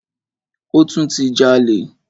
Ó tún ti jalè.